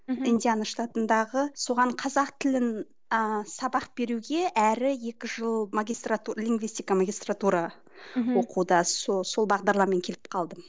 мхм индиана штатындағы соған қазақ тілін ііі сабақ беруге әрі екі жыл лингвистика магистратура оқуда сол сол бағдарламамен келіп қалдым